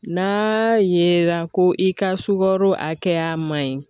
N'a yera ko i ka sukaro hakɛya man ɲi.